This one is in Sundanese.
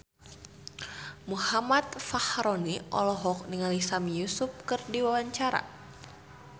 Muhammad Fachroni olohok ningali Sami Yusuf keur diwawancara